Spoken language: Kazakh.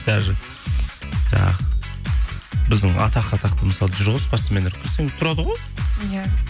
даже жаңағы біздің атақты мысалы жүр ғой спортсмендер тұрады ғой иә